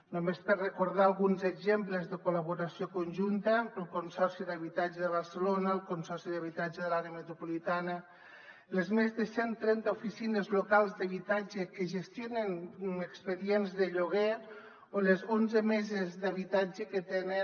només per recordar alguns exemples de col·laboració conjunta el consorci de l’habitatge de barcelona el consorci de l’habitatge de l’àrea metropolitana les més de cent trenta oficines locals d’habitatge que gestionen expedients de lloguer o les onze meses d’habitatge que tenen